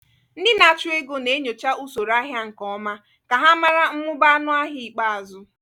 ndị na-achụ ego na-enyocha usoro ahịa nke ọma ka ha mara mmụba ọnụahịa ikpeazụ.